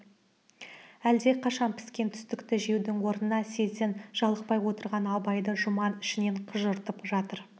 әлдеқашан піскен түстікті жеудің орнына сезден жалықпай отырған абайды жұман ішінен қыжыртып жатыр